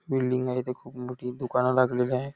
Building आहे इथे खूप मोठी दुकान लागलेली आहे.